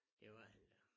Det var han da